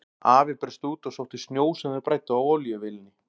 Afi braust út og sótti snjó sem þau bræddu á olíuvélinni.